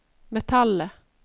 metallet